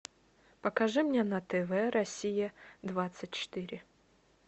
покажи мне на тв россия двадцать четыре